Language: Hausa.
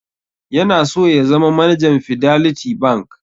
Yana so ya zama manajan Fiderlity Bank.